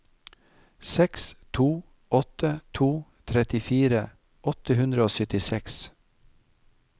seks to åtte to trettifire åtte hundre og syttiseks